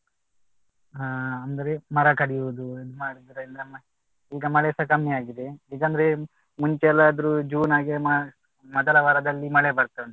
ಹಾಂ ಅಂದ್ರೆ ಮರ ಕಡಿಯುವುದು ಮಾಡಿದ್ರೆ ಈಗ ಮಳೆಸಾ ಕಮ್ಮಿ ಆಗಿದೆ ಈಗಂದ್ರೆ ಮುಂಚೆ ಎಲ್ಲಾ ಆದ್ರೂ June ಹಾಗೆ ಮೊದಲ ವಾರದಲ್ಲಿ ಮಳೆ ಬರ್ತಾ ಉಂಟು